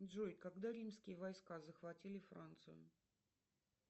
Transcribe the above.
джой когда римские войска захватили францию